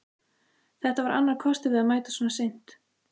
Þetta var annar kostur við að mæta svona seint.